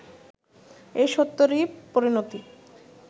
এই সত্যেরই পরিণতি